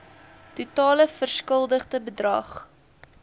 totale verskuldigde bedrag